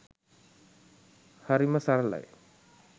හරිම සරලයි